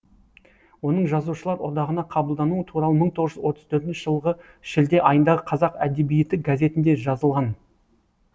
оның жазушылар одағына қабылдануы туралы мың толғыз жүз отыз төртінші жылғы шілде айындағы қазақ әдебиеті газетінде жазылған